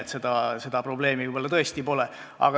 Nii et seda probleemi võib-olla tõesti pole.